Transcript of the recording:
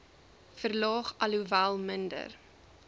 verlaag alhoewel minder